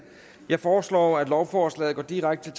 jeg foreslår at lovforslaget går direkte